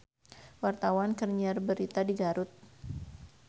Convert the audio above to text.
Wartawan keur nyiar berita di Garut